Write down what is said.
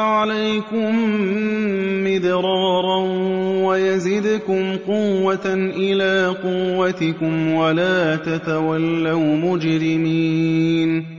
عَلَيْكُم مِّدْرَارًا وَيَزِدْكُمْ قُوَّةً إِلَىٰ قُوَّتِكُمْ وَلَا تَتَوَلَّوْا مُجْرِمِينَ